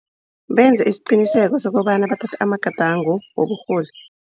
Benza isiqiniseko sokobana bathatha amagadango woburholi.